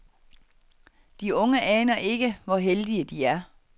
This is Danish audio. De unge aner ikke, hvor heldige de er.